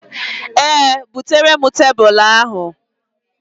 Ee, bụtere m tebụl ahụ.